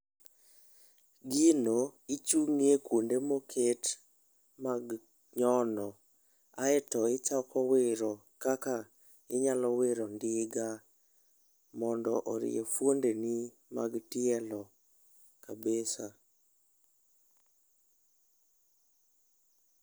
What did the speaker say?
Gino, ichung'ie kuonde moket, mag nyono, aeto ichako wiro kaka inyalo wiro ndiga, mondo orie fuonde ni mag tielo kabisa